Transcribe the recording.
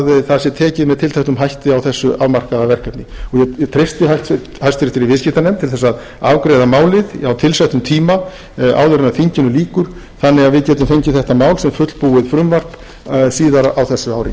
það sé tekið með tilteknum hætti á þessu afmarkaða verkefni ég treysti háttvirtur viðskiptanefnd til þess að afgreiða málið á tilsettum tíma áður en þinginu lýkur þannig að við getum fengið þetta mál sem fullbúið frumvarp síðar á þessu ári